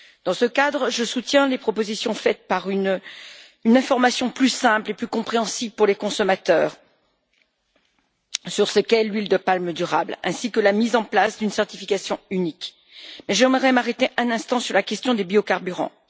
Dans ce cadre, je soutiens les propositions en faveur d'une information plus simple et plus compréhensible pour les consommateurs sur l'huile de palme durable, ainsi que la mise en place d'une certification unique. J'aimerais m'arrêter un instant sur la question des biocarburants.